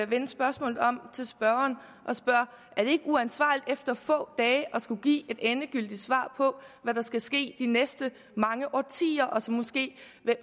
vende spørgsmålet om til spørgeren og spørge er det ikke uansvarligt efter få dage at skulle give et endegyldigt svar på hvad der skal ske de næste mange årtier som måske